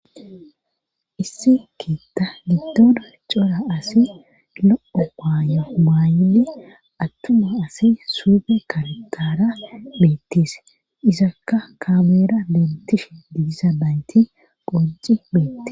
Issi keetta gittona cora asi lo7o aaya maaydi attuma asi suufe kaltaara beettise isakka kaameera lentishe digisa baynti qonci beette